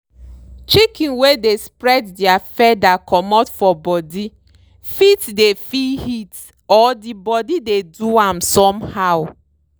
chicken wey dey spread dere feather comot for body fit dey feel heat or di body dey do am somehow.